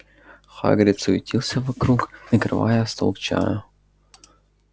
хагрид суетился вокруг накрывая стол к чаю